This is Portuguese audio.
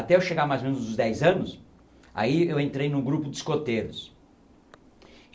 Até eu chegar mais ou menos aos dez anos, aí eu entrei em um grupo de escoteiros.